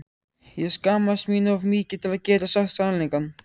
Ég skammaðist mín of mikið til að geta sagt sannleikann.